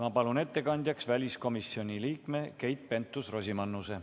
Ma palun ettekandjaks väliskomisjoni liikme Keit Pentus-Rosimannuse.